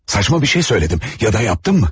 Saçma bir şey söylədim ya da yapdım mı?